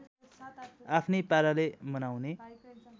आफ्नै पाराले मनाउने